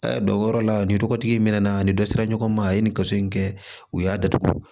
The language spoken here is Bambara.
dɔnko yɔrɔ la nin tɔgɔtigi in mɛn na ani dɔ sera ɲɔgɔn ma a ye nin kaso in kɛ u y'a datugu